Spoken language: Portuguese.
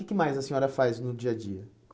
O que mais a senhora faz no dia a dia?